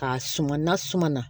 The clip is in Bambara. K'a suma n'a suma na